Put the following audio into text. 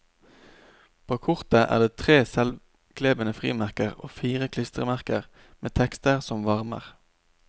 På kortet er det tre selvklebende frimerker og fire klistremerker med tekster som varmer.